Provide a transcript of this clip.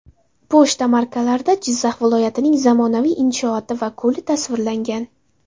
Pochta markalarida Jizzax viloyatining zamonaviy inshooti va ko‘li tasvirlangan.